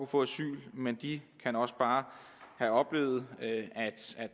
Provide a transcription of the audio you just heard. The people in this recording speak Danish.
få asyl men de kan også bare have oplevet at